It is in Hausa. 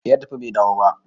eh ya tafi Bai dawo ba